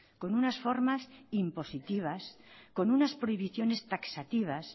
con unas formas impositivas con unas prohibiciones taxativas